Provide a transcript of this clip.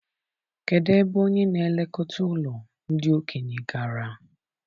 Kedụ ebe onye n'elekọta ụlọ ndị okenye gara?